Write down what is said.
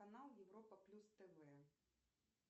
канал европа плюс тв